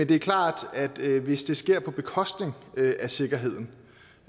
det er klart at hvis det sker på bekostning af sikkerheden